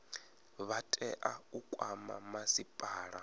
vha tea u kwama masipala